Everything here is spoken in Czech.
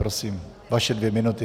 Prosím, vaše dvě minuty.